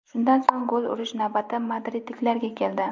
Shundan so‘ng gol urish navbati madridliklarga keldi.